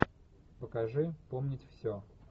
покажи помнить все